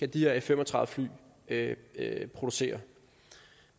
de her f fem og tredive fly kan producere